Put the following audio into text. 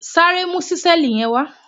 Sáré mu ṣísẹ́ẹ̀lì yẹn wá!